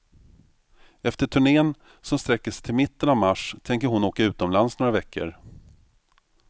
Efter turnén som sträcker sig till mitten av mars tänker hon åka utomlands några veckor.